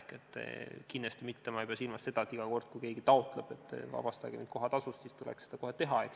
Ma ei pea silmas kindlasti mitte seda, et iga kord, kui keegi taotleb vabastust kohatasust, siis tuleks seda kohe teha.